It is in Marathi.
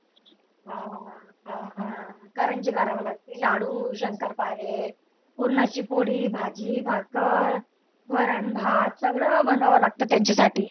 हा हा हा करंजी करावी लागती, लाडू, शंकरपाळे, पुरणाची पोळी, भाजी, भाकर, वरण भात सगळं बनवावं लागतं त्यांच्यासाठी.